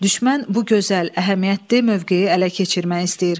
Düşmən bu gözəl, əhəmiyyətli mövqeyi ələ keçirmək istəyir.